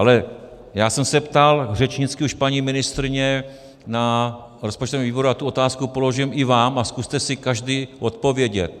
Ale já jsem se ptal řečnicky už paní ministryně na rozpočtovém výboru a tu otázku položím i vám a zkuste si každý odpovědět.